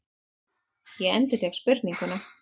Ég endurtek spurninguna.